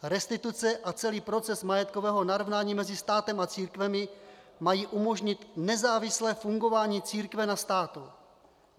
Restituce a celý proces majetkového narovnání mezi státem a církvemi mají umožnit nezávislé fungování církve na státu.